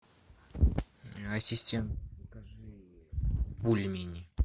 ассистент закажи бульмени